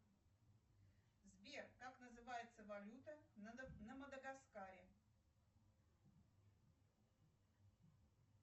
сбер как называется валюта на мадагаскаре